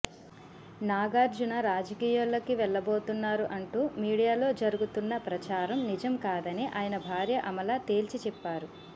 నాగార్జున రాజకీయాల్లోకి వెళ్లబోతున్నారు అంటూ మీడియాలో జరుగుతున్న ప్రచారం నిజం కాదని ఆయన భార్య అమల తేల్చి చెప్పారు